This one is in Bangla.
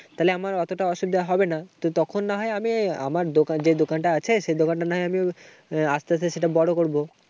তাহলে আমার অতটা অসুবিধা হবে না। তো তখন না হয় আমি আমার দোকান যে দোকান আছে সে দোকানটা না হয় আমি আস্তে আস্তে সেটা বড় করবো।